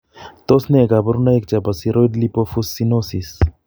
Tos nee kabarunaik chebo Ceroid lipofuscinosis ?